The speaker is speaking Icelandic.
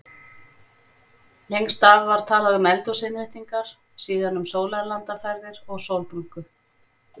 Lengst af var talað um eldhúsinnréttingar, síðan um sólarlandaferðir og sólbrúnku.